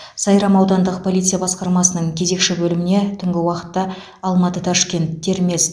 сайрам аудандық полиция баскармасының кезекші бөліміне түнгі уақытта алматы ташкент термез